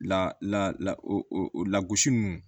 La lagosi ninnu